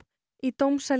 í dómsal í